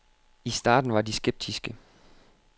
I starten var de skeptiske.